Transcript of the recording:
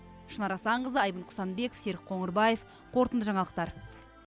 шынар асанқызы айбын құсанбеков серік қоңырбаев қорытынды жаңалықтар